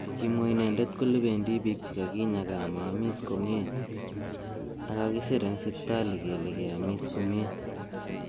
Kimwa inendet kole bendi bik chekakinya kaa amaamis komye ak kakisir eng sipitali kele kiamis komye.